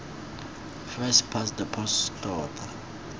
first past the post tota